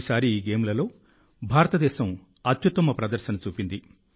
ఈసారి ఈ గేమ్లలో భారతదేశం అత్యుత్తమ ప్రదర్శన చూపింది